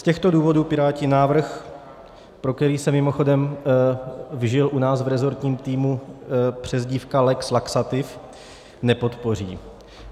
Z těchto důvodů Piráti návrh - pro který se mimochodem vžila u nás v resortním týmu přezdívka lex laxativ - nepodpoří.